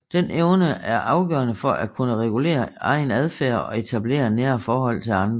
Den evne er afgørende for at kunne regulere egen adfærd og etablere nære forhold til andre